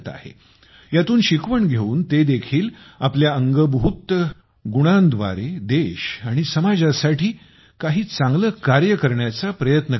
यातून शिकवण घेऊन ते देखील आपल्या अंगच्या गुणांतून देश आणि समाजासाठी काही चांगले कार्य करण्याचा प्रयत्न करत आहेत